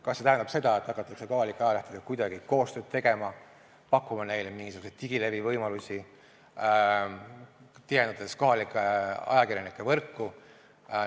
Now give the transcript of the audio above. Kas see tähendab seda, et hakatakse kohalike ajalehtedega kuidagi koostööd tegema, pakkuma neile mingisuguseid digilevivõimalusi, tihendades kohalike ajakirjanike võrku?